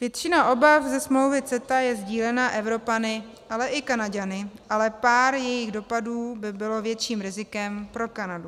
Většina obav ze smlouvy CETA je sdílena Evropany, ale i Kanaďany, ale pár jejích dopadů by bylo větším rizikem pro Kanadu.